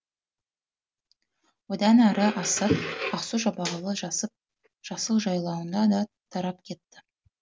одан ары асып ақсу жабағылы жасыл жайлауына да тарап кетті